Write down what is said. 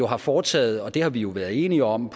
har foretaget og det har vi jo været enige om